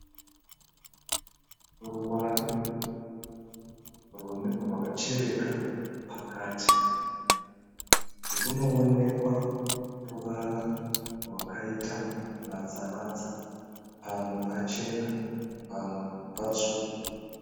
Ruware rwakachereka pakati runoonekwa ruvara rwakaita matsaratsa, pamwe pachena pamwe patsvuku.